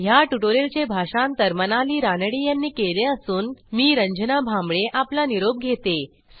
ह्या ट्युटोरियलचे भाषांतर मनाली रानडे यांनी केले असून मी रंजना भांबळे आपला निरोप घेते